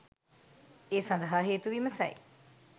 ඒ සඳහා හේතු විමසයි.